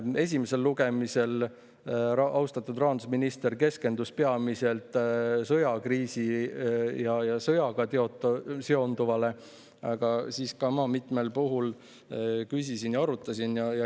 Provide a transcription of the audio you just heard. Esimesel lugemisel austatud rahandusminister keskendus peamiselt sõjakriisile ja sõjaga seonduvale, aga siis ka ma mitmel puhul küsisin ja arutasin.